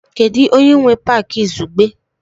Kedu onye nwe Pááki izugbe?